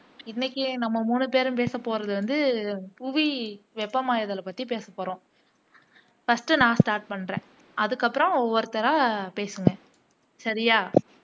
இன்னைக்கு நம்ம மூணு பேரும் பேச போறது வந்து புவி வெப்பமாதல் பத்தி பேசப்போறோம் ஃபர்ஸ்ட் நான் ஸ்டார்ட் பண்றேன் அதுக்கு அப்பறம் ஒவ்வொருத்தரா பேசுங்க சரியா